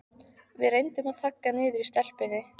Við reyndum að þagga niður í stelpunni.